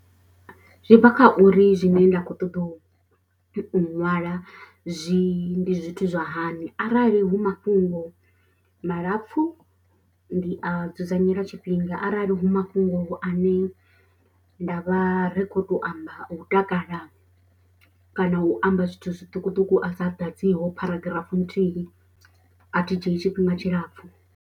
Zwi bva kha uri zwine nda khou ṱoḓa u u ṅwala zwi ndi zwithu zwa hani. Arali hu mafhungo malapfu ndi a dzudzanyela tshifhinga arali hu mafhungo ane nda vha ri kho to amba o takala. Kana u amba zwithu zwiṱukuṱuku a sa ḓadziwaho pharagraph nthihi athi dzhii tshifhinga tshilapfu.